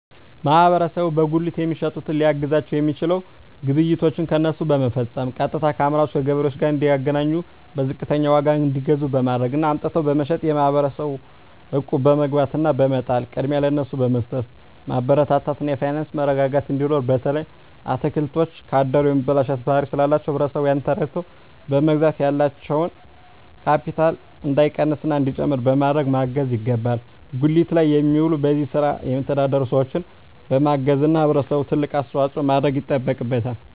ማህበረሰቡ በጉሊት የሚሸጡትን ሊያግዛቸዉ የሚችለዉ ግብይቶችን ከነሱ በመፈፀም ቀጥታከአምራቹ ከገበሬዎቹ ጋር እንዲገናኙና በዝቅተኛ ዋጋ እንዲገዙ በማድረግ እና አምጥተዉ በመሸጥ ማህበረሰቡ እቁብ በመግባት እና በመጣል ቅድሚያ ለነሱ በመስጠትማበረታታት እና የፋይናንስ መረጋጋት እንዲኖር በተለይ አትክልቶች ካደሩ የመበላሸት ባህሪ ስላላቸዉ ህብረተሰቡ ያንን ተረድተዉ በመግዛት ያላቸዉ ካቢታል እንዳይቀንስና እንዲጨምር በማድረግ ማገዝ ይገባል ጉሊት ላይ የሚዉሉ በዚህ ስራ የሚተዳደሩ ሰዎችን በማገዝና ህብረተሰቡ ትልቅ አስተዋፅኦ ማድረግ ይጠበቅበታል